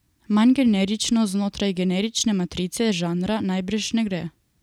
Manj generično znotraj generične matrice žanra najbrž ne gre.